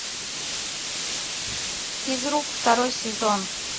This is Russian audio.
физрук второй сезон